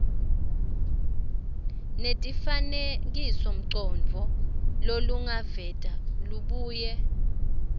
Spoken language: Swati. nemifanekisomcondvo lolungaveta lubuye